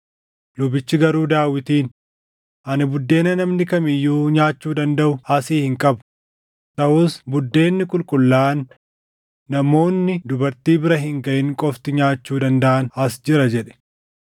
Lubichi garuu Daawitiin, “Ani buddeena namni kam iyyuu nyaachuu dandaʼu asii hin qabu; taʼus buddeenni qulqullaaʼaan namoonni dubartii bira hin gaʼin qofti nyaachuu dandaʼan as jira” jedhe.